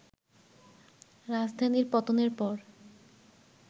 রাজধানীর পতনের পর